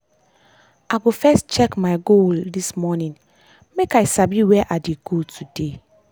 i go first check my goal this morning make i sabi where i dey go today.